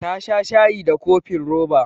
Ta sha shayi da cofin roba.